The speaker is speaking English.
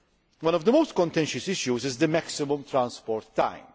One of the most contentious issues is the maximum transport time.